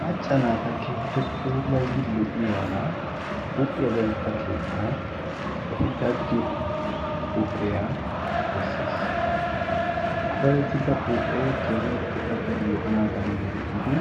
macca naata keehippe puulattidi lo'iyaagaa huphiya dadetta keettan eti daddiyoo huuphoyaa besses ha dadettida huuphee kehin puulattidi lo'anaadaani geetettidi